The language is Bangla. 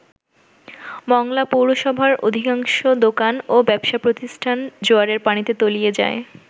মংলা পৌরসভার অধিআংশ দোকান ও ব্যবসাপ্রতিষ্ঠান জোয়ারের পানিতে তলিয়ে যায়।